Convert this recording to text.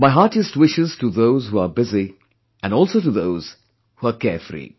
My heartiest wishes to those who are busy, and also to those who are carefree